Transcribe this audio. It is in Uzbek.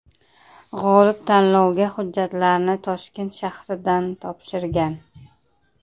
G‘olib tanlovga hujjatlarni Toshkent shahridan topshirgan.